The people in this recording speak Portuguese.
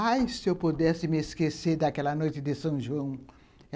Ai, se eu pudesse me esquecer daquela noite de São João.